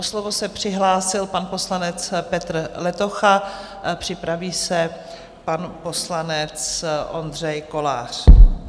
O slovo se přihlásil pan poslanec Petr Letocha, připraví se pan poslanec Ondřej Kolář.